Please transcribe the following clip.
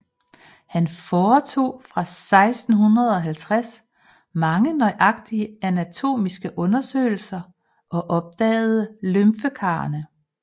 Han foretog fra 1650 mange nøjagtige anatomiske undersøgelser og opdagede lymfekarrene